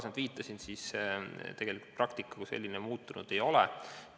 Nagu varem viitasin, siis tegelikult praktika kui selline muutunud ei ole.